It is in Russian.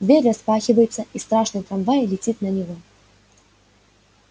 дверь распахивается и страшный трамвай летит на него